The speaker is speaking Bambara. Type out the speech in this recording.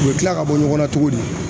U bɛ tila ka bɔ ɲɔgɔn na cogo di